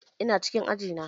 Ina cikin aji na.